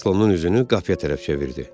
Kreslonun üzünü qapıya tərəf çevirdi.